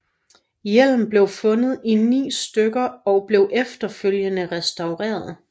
Hjelmen blev fundet i ni stykker og blev efterfølgende restaureret